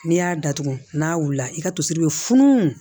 N'i y'a datugu n'a wulila i ka tosi bɛ funun